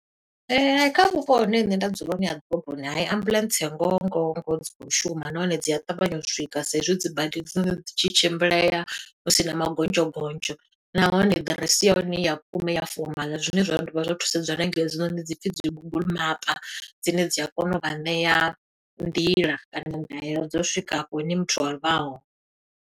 Ee, hai kha vhupo hune nṋe nda dzula hone ha ḓoroboni, hayi ambuḽentse ngoho ngoho ngoho dzi khou shuma. Nahone dzi a ṱavhanya u swika, sa i zwi dzi bada e dzi noni dzi tshi tshimbilea, husina magonzho gonzho. Nahone aḓiresi ya hone ya vhukuma i ya fomaḽa, zwine zwa dovha zwa thusedzwa na nga hedzinoni dzi pfi dzi Google mapa, dzine dzi a kona u vha ṋea nḓila, kana ndaela dzo swika hafho hune muthu a hone.